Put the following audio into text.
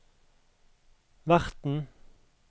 verten